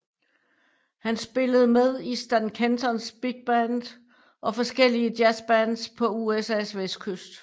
Han spillede med i Stan Kentons big band og forskellige jazzbands på USAs vestkyst